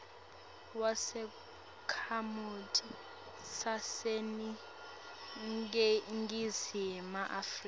wesakhamuti saseningizimu afrika